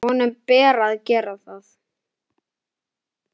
Honum ber að gera það.